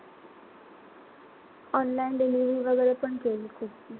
Online delivery वगैरे पण केली खूप.